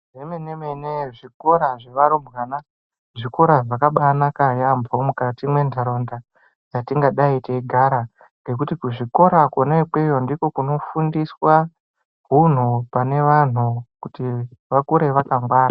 Zvemene-mene zvikora zvevarumbwana zvikora zvakabanaka yambo, mukati mendaraunda dzatingadayi teyigara, ngekuti kuzvikora kona ikweyo ,ndiko kunofundiswa hunhu pane vanhu kuti vakure vakangwara.